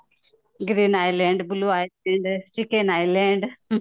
green iland, blue iland, Chechen island ହୁଁ